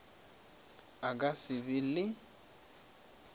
a ka se be le